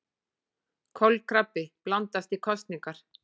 Kolkrabbi blandast í kosningar